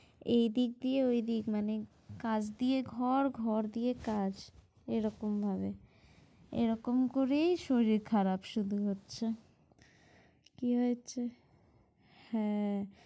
এই দিক দিয়েও এই দিক মানে কাজ দিয়ে ঘর ঘর দিয়ে কাজ এই রকম ভাবে। এই রকম করেই শরীর খারাপ শুধু হচ্ছে, কি হয়ছে হ্যাঁ